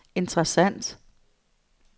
interessant